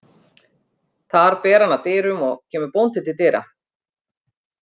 Þar ber hann að dyrum og kemur bóndi til dyra.